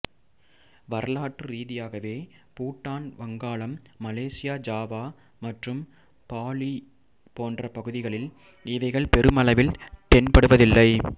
வரலாற்று ரீதியாகவே பூட்டான் வங்காளம் மலேசியா ஜாவா மற்றும் பாலி போன்ற பகுதிகளில் இவைகள் பெருமளவில் தென்படுவதில்லை